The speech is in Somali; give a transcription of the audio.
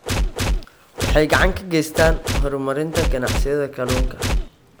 Waxay gacan ka geystaan ??horumarinta ganacsiyada kalluunka.